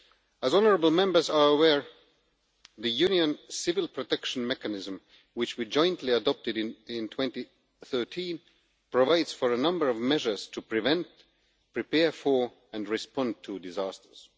As honourable Members are aware, the Union Civil Protection Mechanism, which we jointly adopted in 2013, provides for a number of measures to prevent, prepare for and respond to disasters.